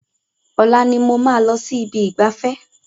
Ọ̀la ni mo máa lọ sí ibi ìgbafẹ́.